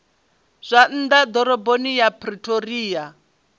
zwa nnḓa ḓoroboni ya pretoria